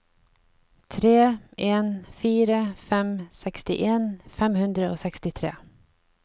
tre en fire fem sekstien fem hundre og sekstitre